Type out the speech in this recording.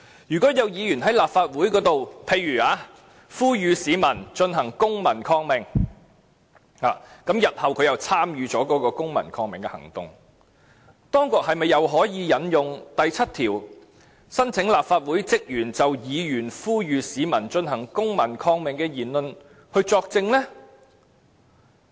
如果有議員在立法會上，例如呼籲市民進行公民抗命，而他日後又參與了該次公民抗命行動，當局是否可以再次引用第7條，申請立法會職員就議員呼籲市民進行公民抗命的言論作證呢？